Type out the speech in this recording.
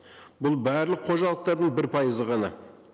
бұл барлық қожалықтардың бір пайызы ғана